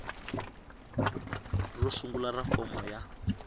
ro sungula ra fomo ya